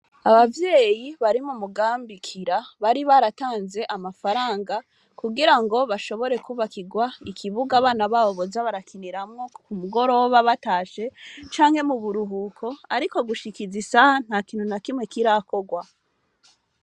Abavyeyi bari mu mugambi kira bari baratanze amafaranga kugirango bashobore kubakirwa ikibuga abana babo boza barakinirakmwo ku mugoroba batashe canke mu buruhuko ariko gushika izi saha nta kintu na kimwe kirakorwa.